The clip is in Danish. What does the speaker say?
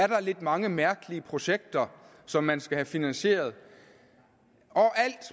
der er lidt mange mærkelige projekter som man skal have finansieret alt